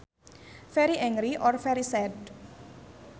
Very angry or very sad